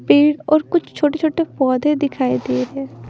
पेड़ और कुछ छोटे-छोटे पौधे दिखाई दे रहे हैं।